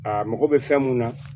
A mago bɛ fɛn mun na